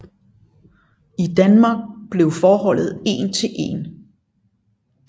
I Danmark blev forholdet én til én